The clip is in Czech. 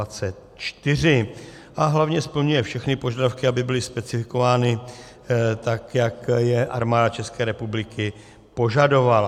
A hlavně splňuje všechny požadavky, aby byly specifikovány tak, jak je Armáda České republiky požadovala.